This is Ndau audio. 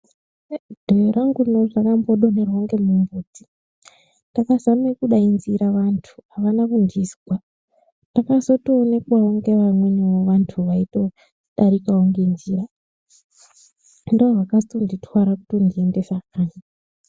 !Dhoyo rangu rino rakambo donherwa ngemumbuti ndakazame kudaidzira vantu avana kundizwa ndakozotoonekwawo ngevamweni antu vaitodarikawo ngenjira ndiwo akazotonditwara kutondiendesa kanyi.